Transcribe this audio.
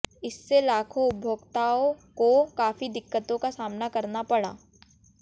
इससे लाखों उपभोक्ताओं को काफी दिक्कतों का सामना करना पड़ा